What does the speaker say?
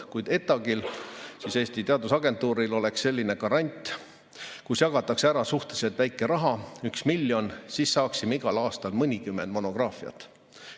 Kui ETAg-il ehk Eesti Teadusagentuuril oleks selline grant, kus jagatakse ära suhteliselt väike raha, 1 miljon, siis saaksime igal aastal mõnikümmend monograafiat.